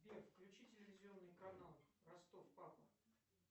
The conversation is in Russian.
сбер включи телевизионный канал ростов папа